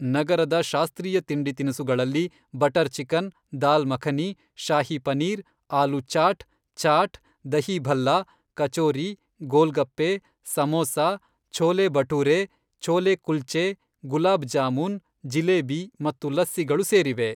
ನಗರದ ಶಾಸ್ತ್ರೀಯ ತಿಂಡಿ ತಿನಿಸುಗಳಲ್ಲಿ ಬಟರ್ ಚಿಕನ್, ದಾಲ್ ಮಖನಿ, ಶಾಹಿ ಪನೀರ್, ಆಲೂ ಚಾಟ್, ಚಾಟ್, ದಹಿ ಭಲ್ಲಾ, ಕಚೋರಿ, ಗೋಲ್ ಗಪ್ಪೆ, ಸಮೋಸಾ, ಛೋಲೆ ಭಟೂರೇ, ಛೋಲೆ ಕುಲ್ಚೇ, ಗುಲಾಬ್ ಜಾಮೂನ್, ಜಿಲೇಬಿ ಮತ್ತು ಲಸ್ಸಿಗಳು ಸೇರಿವೆ.